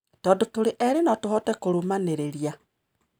Tondũ tũrĩ erĩ no tũhote kũrũmanĩrĩria.